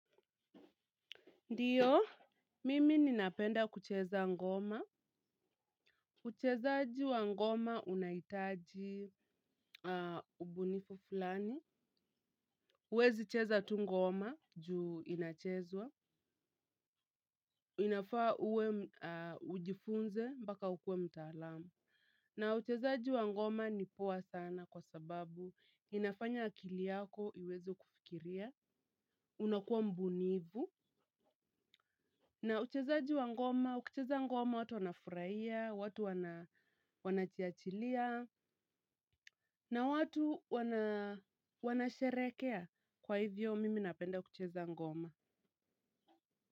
Ndiyo, mimi ninapenda kucheza ngoma. Uchezaji wa ngoma unahitaji ubunifu fulani. Huwezi cheza tu ngoma juu inachezwa. Inafaa uwe ujifunze, mbaka ukuwe mtaalamu. Na uchezaji wa ngoma ni poa sana kwa sababu inafanya akili yako iweze kufikiria. Unakuwa mbunifu. Na uchezaji wa ngoma, ukicheza ngoma watu wanafurahia, watu wanajiachilia, na watu wanasherekea. Kwa hivyo, mimi napenda kucheza ngoma.